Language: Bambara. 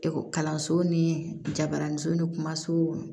kalanso ni jabaraninso ni kumaso